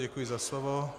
Děkuji za slovo.